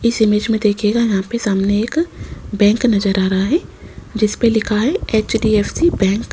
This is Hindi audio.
इस इमेज में दिखेगा यहां पे सामने एक बैंक नजर आ रहा है जिसपे लिखा है एच_डी_एफ_सी बैंक ।